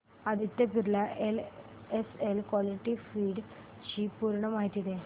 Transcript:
Aditya Birla SL equity fund D ची पूर्ण माहिती दे